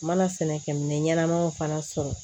N mana sɛnɛ kɛ minɛ ɲɛnamaw fana sɔrɔ